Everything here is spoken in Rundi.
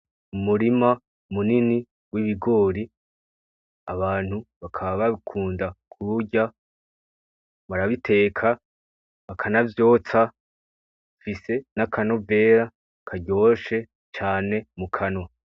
Umurima munini w’ibigori, abantu bakaba babikunda kuburyo barabiteka bakanavyotsa, bifise n’akanovera karyoshe cyane mu kanwa.